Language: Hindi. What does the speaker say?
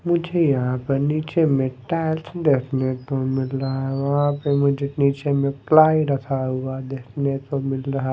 मुझे यहाँ पर नीचे में टाइल्स देखने को मिल रहा है वहाँ पे मुझे नीचे में प्लाई रखा हुआ देखने को मिल रहा है।